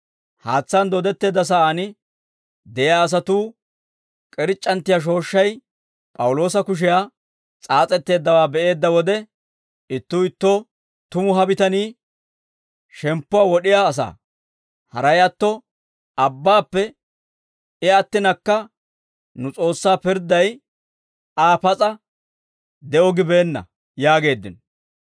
Haatsaan dooddetteedda sa'aan de'iyaa asatuu k'irc'c'anttiyaa shooshshay P'awuloosa kushiyan s'aas'etteeddawaa be'eedda wode ittuu ittoo, «Tumu ha bitanii shemppuwaa wod'iyaa asaa; haray atto abbaappe I attinakka nu S'oossaa pirdday Aa pas'a de'o gibeenna» yaageeddino.